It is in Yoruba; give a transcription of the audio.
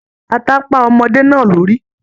Ata pá ọmọde náà lórí.